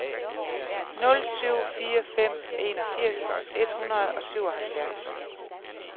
nul syv fire fem enogfirs et hundrede og syvoghalvfjerds